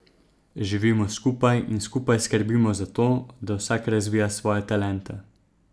Živimo skupaj in skupaj skrbimo za to, da vsak razvija svoje talente.